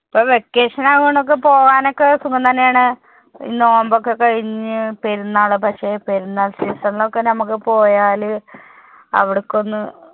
ഇപ്പൊ vacation ആയതുകൊണ്ട് പോവാൻ ഒക്കെ സുഖം തന്നെ ആണ്. ഈ നോയമ്പ് ഒക്കെ കഴിഞ്ഞു പെരുന്നാള് പക്ഷെ പെരുന്നാൾ season ൽ ഒക്കെ നമുക്ക് പോയാല് അവിടേക്ക് ഒന്ന്